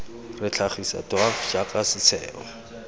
re tlhagisa dwaf jaaka setheo